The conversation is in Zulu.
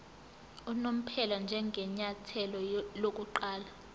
unomphela njengenyathelo lokuqala